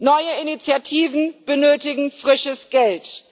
Neue Initiativen benötigen frisches Geld.